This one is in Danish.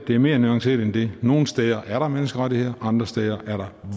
det er mere nuanceret end det nogle steder er der menneskerettigheder andre steder er der